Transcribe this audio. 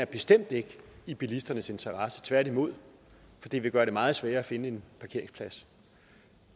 bestemt ikke er i bilisternes interesse tværtimod for det vil gøre det meget sværere at finde en parkeringsplads